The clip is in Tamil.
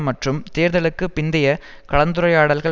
மற்றும் தேர்தலுக்கு பிந்தைய கலந்துரையாடல்கள்